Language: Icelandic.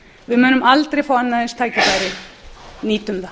við munum aldrei fá annað eins tækifæri nýtum það